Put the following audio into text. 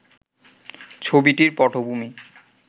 ছবিটির পটভূমি